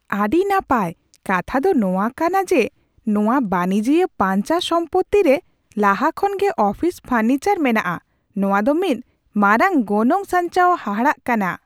ᱟᱹᱰᱤ ᱱᱟᱯᱟᱭ! ᱠᱟᱛᱷᱟ ᱫᱚ ᱱᱚᱣᱟ ᱠᱟᱟᱱ ᱡᱮ ᱱᱚᱶᱟ ᱵᱟᱹᱱᱤᱡᱤᱭᱟᱹ ᱯᱟᱧᱪᱟ ᱥᱚᱢᱯᱩᱛᱤ ᱨᱮ ᱞᱟᱦᱟ ᱠᱷᱚᱱ ᱜᱮ ᱚᱯᱷᱤᱥ ᱯᱷᱚᱨᱱᱤᱪᱟᱨ ᱢᱮᱱᱟᱜ ᱟ, ᱱᱚᱶᱟ ᱫᱚ ᱢᱤᱫ ᱢᱟᱨᱟᱝ ᱜᱚᱱᱚᱝ ᱥᱟᱧᱪᱟᱣ ᱦᱟᱦᱟᱲᱟᱜ ᱠᱟᱱᱟ ᱾